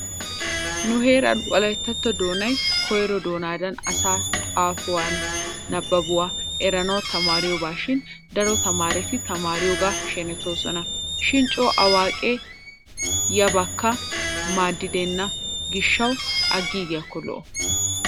Nu heeran wolayttatto doonay koyro doonadan asay xaafuwanne nabbabuwa eranawu tamaariyobashin daro tamaareti a tamaariyoogaa shenetoosona. Shin coo awaaqee yabakka maaddenna gishshawu aggiigiyakko lo'o.